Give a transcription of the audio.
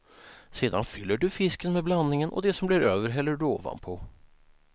Sedan fyller du fisken med blandningen, och det som blir över häller du ovanpå.